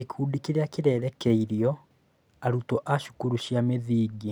Gĩkundi kĩrĩa kĩrerekeirio: Arutwo a cukuru cia mũthingi.